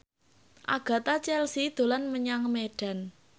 Agatha Chelsea dolan menyang Medan